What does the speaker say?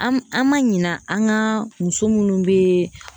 An an ma ɲinɛ an ka muso minnu be